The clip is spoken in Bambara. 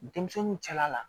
Denmisɛnninw cɛla la